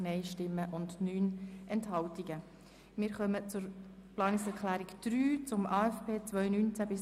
Wir kommen zur Planungserklärung 3 Brönnimann, glp, zum AFP 2019–2021.